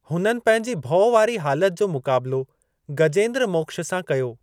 हुननि पंहिंजी भउ वारी हालति जो मुकाबलो गजेंद्र मोक्ष सां कयो।